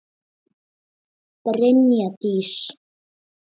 Brynja Dís.